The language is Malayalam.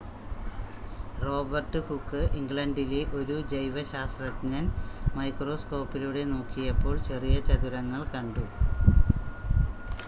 റോബർട്ട് ഹൂക്ക് ഇംഗ്ലണ്ടില ഒരു ജൈവ ശാസ്ത്രജ്ഞൻ മൈക്രോസ്കോപ്പിലൂടെ നോക്കിയപ്പോൾ ചെറിയ ചതുരങ്ങൾ കണ്ടു